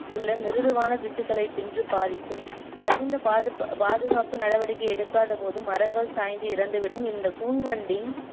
உள்ள மிருதுவான திசுக்களை தின்று பாதிக்கும் தகுந்த பாதுகாப்பு நடவடிக்கை எடுக்காத போது மரங்கள் சாய்ந்து இறந்துவிடும் இந்தக் கூன்வண்டின்